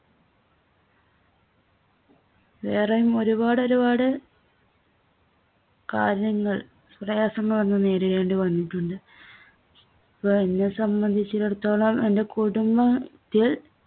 വേറെയും ഒരുപാട് ഒരുപാട് കാര്യങ്ങൾ പ്രയാസങ്ങൾ നമ്മൾ നേരിടേണ്ടിവന്നിട്ടുണ്ട്. ഇപ്പോ എന്നെ സംബന്ധിച്ചിടത്തോളം എൻ്റെ കുടുംബ~ത്തിൽ